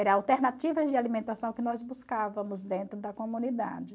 Era alternativas de alimentação que nós buscávamos dentro da comunidade.